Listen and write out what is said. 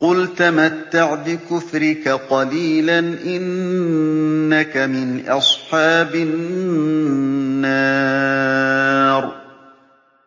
قُلْ تَمَتَّعْ بِكُفْرِكَ قَلِيلًا ۖ إِنَّكَ مِنْ أَصْحَابِ النَّارِ